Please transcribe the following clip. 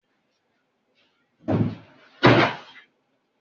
Àwọn bọ́ọ̀dù admission fi òpin sí admission Gídéoni.